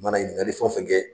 Mana ɲininkali fɛn o fɛn kɛ